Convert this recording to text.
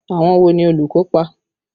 Àwọn wo ni olùkópa?